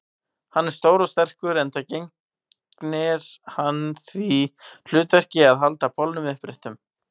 Hann er stór og sterkur, enda gegnir hann því hlutverki að halda bolnum uppréttum.